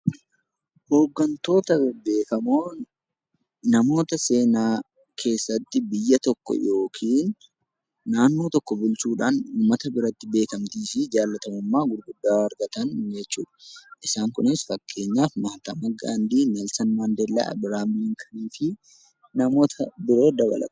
Hooggantoonni beekamoon namoota seenaa keessatti naannoo tokko bulchuudhaan uummata biratti beekamtii fi jaallatamummaa guddaa argatan jechuudha. Isaan Kunis namoota Akka Neelsan Maandeellaa fi namoota biroo dabalata.